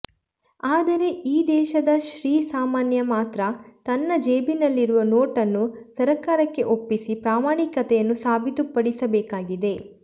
ಆದರೆ ಈ ದೇಶದ ಶ್ರೀ ಸಾಮಾನ್ಯ ಮಾತ್ರ ತನ್ನ ಜೇಬಿನಲ್ಲಿರುವ ನೋಟನ್ನು ಸರಕಾರಕ್ಕೆ ಒಪ್ಪಿಸಿ ಪ್ರಾಮಾಣಿಕತೆಯನ್ನು ಸಾಬೀತು ಪಡಿಸಬೇಕಾಗಿದೆ